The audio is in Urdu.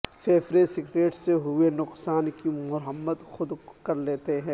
پھیپھڑے سگریٹ سے ہوئے نقصان کی مرمت خود کر لیتے ہیں